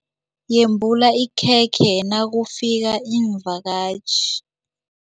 Yembula ikhekhe nakufika iimvakatjhi.